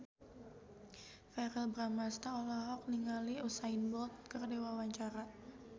Verrell Bramastra olohok ningali Usain Bolt keur diwawancara